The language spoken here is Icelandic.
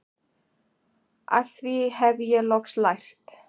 Af því hef ég loks lært